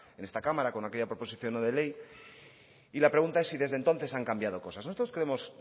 en esta cámara con aquella proposición no de ley y la pregunta es si desde entonces han cambiado cosas nosotros creemos